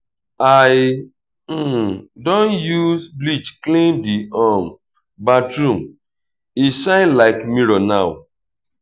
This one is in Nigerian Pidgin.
i don use bleach clean di um bathroom e shine like mirror now.